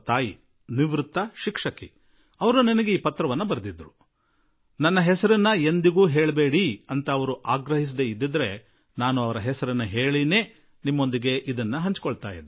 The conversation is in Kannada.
ಆಕೆ ನಿವೃತ್ತ ಶಿಕ್ಷಕಿ ಅವರು ನನಗೆ ಈ ಪತ್ರ ಬರೆದಿದ್ದಾರೆ ಅವರು ತಮ್ಮ ಪತ್ರದಲ್ಲಿನ ತಮ್ಮ ಹೆಸರನ್ನು ಬಹಿರಂಗಪಡಿಸಬಾರದೆಂದು ನನಗೆ ಹೇಳದೇ ಇದ್ದಿದ್ದರೆ ಅವರ ಹೆಸರನ್ನು ತಿಳಿಸಿಯೇ ಈ ಕುರಿತು ನಿಮ್ಮೊಡನೆ ಮಾತನಾಡುವ ಮನಸ್ಸು ನನ್ನದಾಗಿತ್ತು